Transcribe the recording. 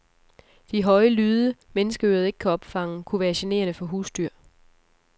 De høje lyde, menneskeøret ikke kan opfange, kunne være generende for husdyr.